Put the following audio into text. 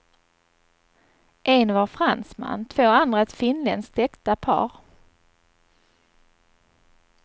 En var fransman, två andra ett finländskt äkta par.